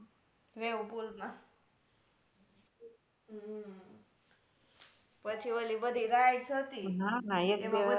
wavepool મા હમ પછી ઓલી બધી rides હતી